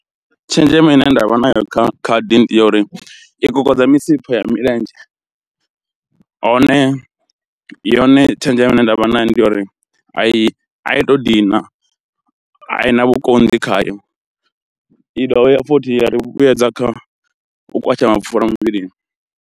Tshenzhemo ine nda vha nayo kha khadi ndi yo uri i kokodza misipha ya milenzhe, hone yone tshenzhemo ine nda vha nayo ndi ya uri a i a i to dina i na vhukonḓi khayo, i dovha ya futhi ya ri vhuyedza kha u kwasha mapfhura muvhilini.